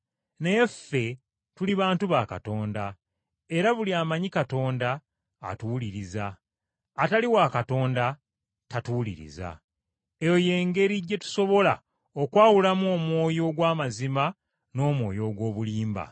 Naye ffe tuli bantu ba Katonda, era buli amanyi Katonda atuwuliriza; atali wa Katonda tatuwuliriza. Eyo y’engeri gye tusobola okwawulamu omwoyo ogw’amazima n’omwoyo ogw’obulimba.